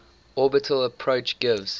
orbital approach gives